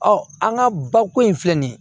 an ka bako in filɛ nin ye